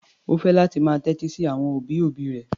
Ó fẹ́ láti máa tẹ́tí sí àwọn òbí-òbí rẹ̀.